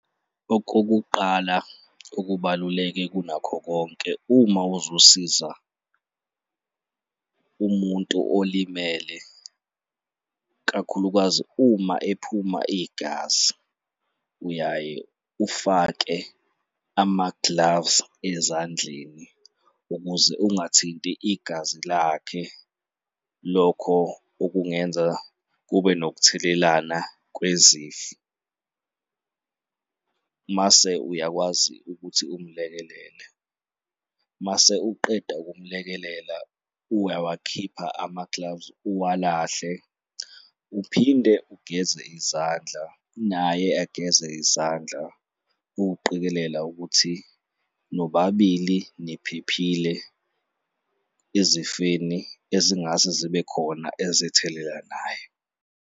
Okokuqala okubaluleke kunakho konke, uma uzosiza umuntu olimele, kakhulukazi uma ephuma igazi, uyaye ufake ama-gloves ezandleni ukuze ungathinti igazi lakhe, lokho okungenza kube nokuthelelana kwezifo, mase uyakwazi ukuthi umlekelele mase uqeda ukumlekelela, uyawakhipha ama-gloves uwalahle, uphinde ugeze izandla, naye ageze izandla ukuqikelela ukuthi nobabili niphephile ezifeni ezingase zibe khona ezithelelanayo.